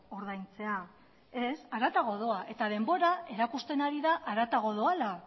ordaintzea ez haratago doa eta denbora erakusten ari da haratago doala